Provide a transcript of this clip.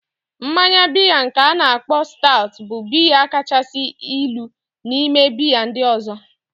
Mmanya biya nke a na-akpo sta bụ biya kacha ilu n'ime biya ndị ọzọ